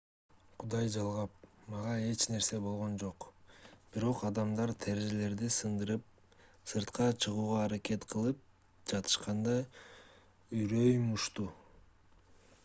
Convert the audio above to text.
кудай жалгап мага эч нерсе болгон жок бирок адамдар терезелерди сындырып сыртка чыгууга аракет кылып жатышканда үрөйүм учту